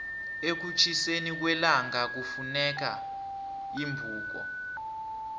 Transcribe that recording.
ekutjhiseni kwellangakufuneka iimbuko